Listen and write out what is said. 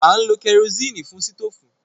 À ń lo kẹrosíìnì fún sítòfù.